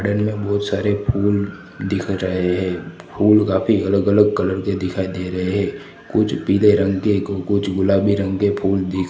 garden में बहोत सारे फुल दिख रहे है फूल काफी अलग अलग कलर के दिखाई दे रहे कुछ पीले रंग के को कुछ गुलाबी रंग के फूल दि--